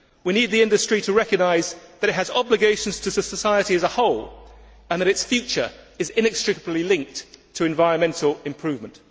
We need the industry to recognise that it has obligations to society as a whole and that its future is inextricably linked to environmental improvement.